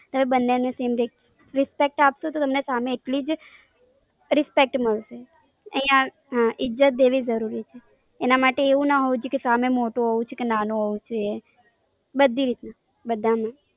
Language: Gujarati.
હવે બન્ને નું સેમ રે, Respect આપો તો એમને સામે એટલી જ Respect મળશે. આયા ઈજ્જત દેવી જરૂરી છે. એના માટે એવું ના હોવું જોઈએ કે સામે મોટો હોવો જોઈ કે નાનો હોવો જોઈ એ. બધી રીતના, બધાને.